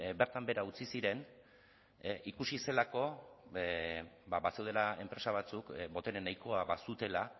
bertan behera utzi ziren ikusi zelako bazeudela enpresa batzuk botere nahikoa bazutela